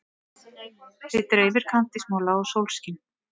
Þig dreymir kandísmola og sólskin.